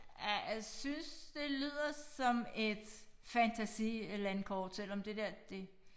Ja jeg synes det lyder som et fantasilandkort selvom det der det